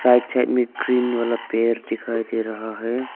Right side में green वाला पेड़ दिखाई दे रहा है।